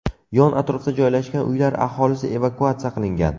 Yon-atrofda joylashgan uylar aholisi evakuatsiya qilingan.